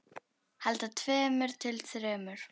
Handa tveimur til þremur